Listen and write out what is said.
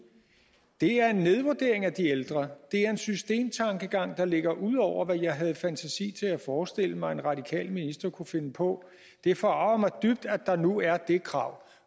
det er en nedvurdering af de ældre det er en systemtankegang der ligger ud over hvad jeg havde fantasi til at forestille mig en radikal minister kunne finde på det forarger mig dybt at der nu er det krav